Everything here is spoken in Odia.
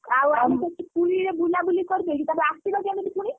ଆଉ ଆମେ ସେଠି ପୁରୀରେ ବୁଲାବୁଲି କରିଦେଇକି ତାପରେ ଆସିବା କେମିତି ପୁଣି?